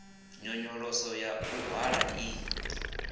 nyonyoloso ya u hwala i